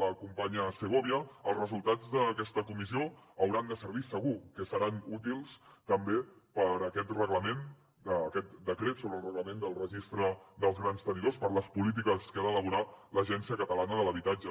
la companya segovia els resultats d’aquesta comissió hauran de servir segur que seran útils també per a aquest reglament aquest decret sobre el reglament del registre dels grans tenidors per a les polítiques que ha d’elaborar l’agència catalana de l’habitatge